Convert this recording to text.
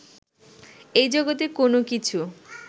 এই জগতে কোনও কিছু